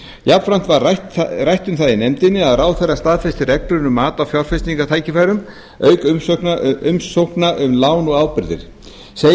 jafnframt var rætt um það í nefndinni að ráðherra staðfesti reglur um mat á fjárfestingartækifærum auk umsókna um lán og ábyrgðir segja